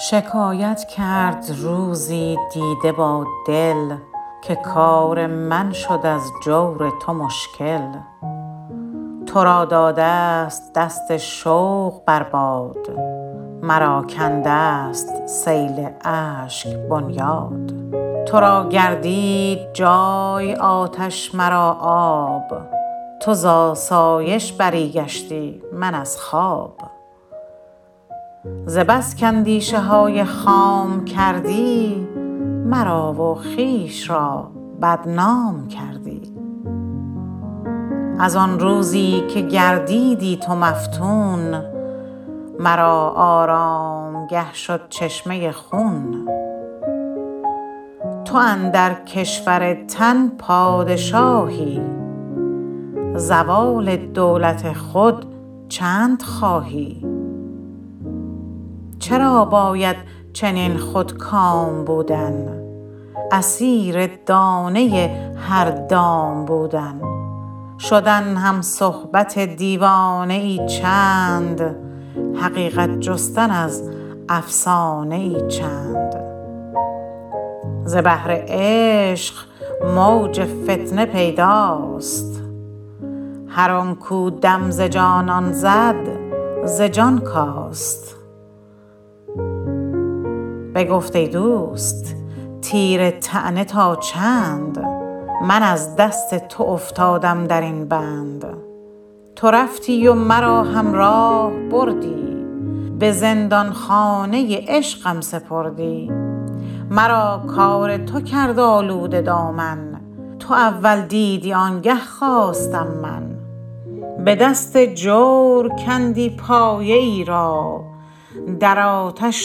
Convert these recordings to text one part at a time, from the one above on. شکایت کرد روزی دیده با دل که کار من شد از جور تو مشکل ترا دادست دست شوق بر باد مرا کندست سیل اشک بنیاد ترا گردید جای آتش مرا آب تو زاسایش بری گشتی من از خواب ز بس کاندیشه های خام کردی مرا و خویش را بدنام کردی از آن روزی که گردیدی تو مفتون مرا آرامگه شد چشمه خون تو اندر کشور تن پادشاهی زوال دولت خود چندخواهی چرا باید چنین خودکام بودن اسیر دانه هر دام بودن شدن همصحبت دیوانه ای چند حقیقت جستن از افسانه ای چند ز بحر عشق موج فتنه پیداست هر آن کو دم ز جانان زد ز جان کاست بگفت ای دوست تیر طعنه تا چند من از دست تو افتادم درین بند تو رفتی و مرا همراه بردی به زندانخانه عشقم سپردی مرا کار تو کرد آلوده دامن تو اول دیدی آنگه خواستم من به دست جور کندی پایه ای را در آتش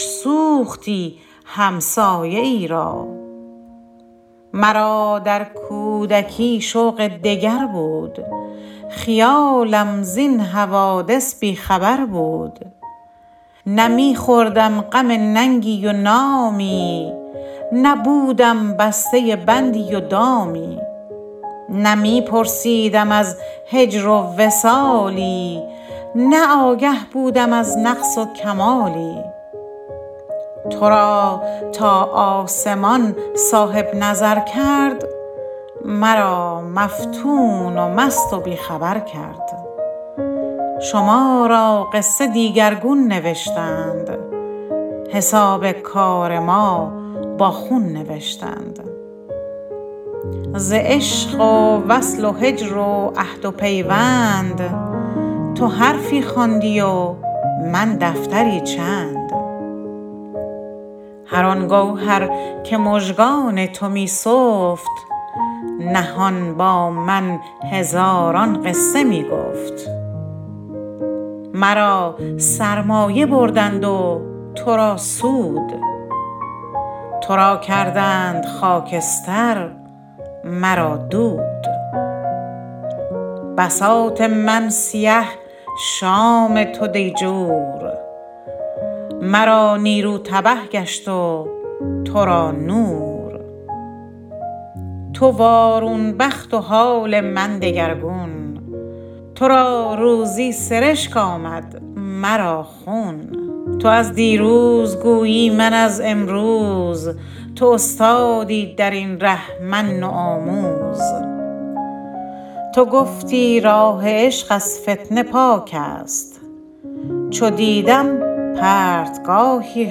سوختی همسایه ای را مرا در کودکی شوق دگر بود خیالم زین حوادث بی خبر بود نه می خوردم غم ننگی و نامی نه بودم بسته بندی و دامی نه می پرسیدم از هجر و وصالی نه آگه بودم از نقص و کمالی ترا تا آسمان صاحب نظر کرد مرا مفتون و مست و بی خبر کرد شما را قصه دیگرگون نوشتند حساب کار ما با خون نوشتند ز عشق و وصل و هجر و عهد و پیوند تو حرفی خواندی و من دفتری چند هر آن گوهر که مژگان تو می سفت نهان با من هزاران قصه می گفت مرا سرمایه بردند و ترا سود ترا کردند خاکستر مرا دود بساط من سیه شام تو دیجور مرا نیرو تبه گشت و تو را نور تو وارون بخت و حال من دگرگون ترا روزی سرشک آمد مرا خون تو از دیروز گویی من از امروز تو استادی درین ره من نوآموز تو گفتی راه عشق از فتنه پاک است چو دیدم پرتگاهی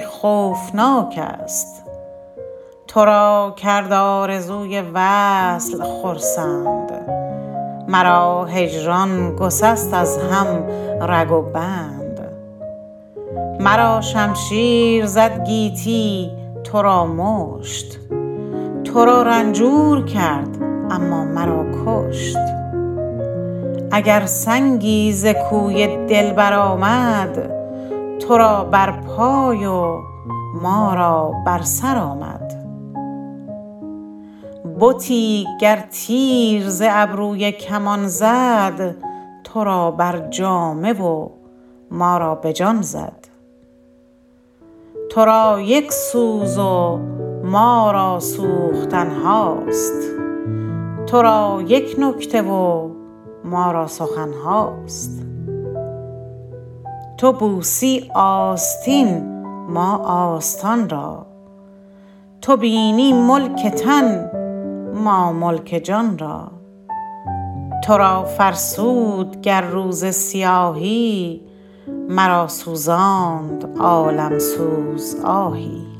خوفناک است ترا کرد آرزوی وصل خرسند مرا هجران گسست از هم رگ و بند مرا شمشیر زد گیتی ترا مشت ترا رنجور کرد اما مرا کشت اگر سنگی ز کوی دلبر آمد ترا بر پای و ما را بر سر آمد بتی گر تیر ز ابروی کمان زد ترا بر جامه و ما را به جان زد ترا یک سوز و ما را سوختن هاست ترا یک نکته و ما را سخن هاست تو بوسی آستین ما آستان را تو بینی ملک تن ما ملک جان را ترا فرسود گر روز سیاهی مرا سوزاند عالم سوز آهی